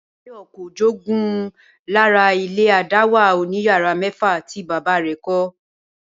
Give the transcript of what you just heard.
Báyò̩ kò jogún lára ilé àdáwà oníyàrá mé̩fà tí bàbá rè̩ kó̩